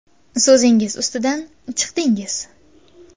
So‘zingiz ustidan chiqdingiz.